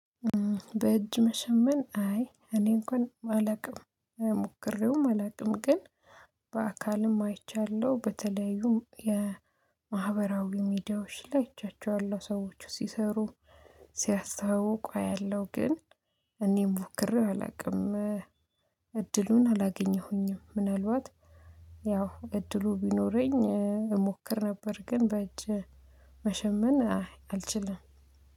በእጅ መሸመን አይ እኔ እንኳን አላውቅም ሞክሬውም አላውቅም። ግን በአካልም አይቻለሁ፣ በተለያዩም የማህበራዊ ሚዲያዎች ላይ አይቻቸዋለሁ፣ ሰዎች ሲሰሩ፣ ሲያስተዋውቁ አያለሁ ግን እኔ ሞክሬው አላውቅም። እድሉን አላገኘሁኝም፣ ምናልባት ያው እድሉ ቢኖረኝ እሞክር ነበር፤ ግን በእጅ መሸመን አልችልም።